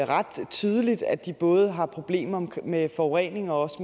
ret tydeligt at de både har problemer med forurening og også